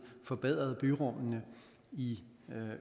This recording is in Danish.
forbedret byrummene i